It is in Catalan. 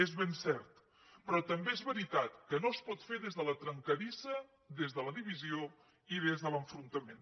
és ben cert però també és veritat que no es pot fer des de la trencadissa des de la divisió i des de l’enfrontament